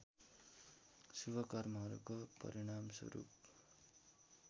शुभ कर्महरूको परिणामस्वरूप